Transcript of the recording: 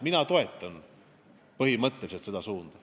Mina toetan põhimõtteliselt seda suunda.